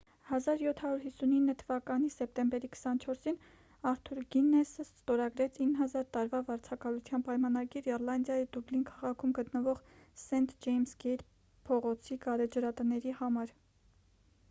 1759 թվականի սեպտեմբերի 24-ին արթուր գիննեսը ստորագրեց 9,000 տարվա վարձակալության պայմանագիր իռլանդիայի դուբլին քաղաքում գտնվող սենթ ջեյմս գեյթ փողոցի գարեջրատների համար